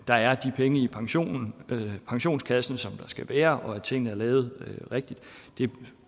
der er de penge i pensionskassen pensionskassen som der skal være og at tingene er lavet rigtigt